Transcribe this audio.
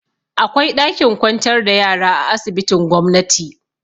Akwai ɗakin kwantar da yara a asibitin gomnati.